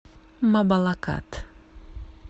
мабалакат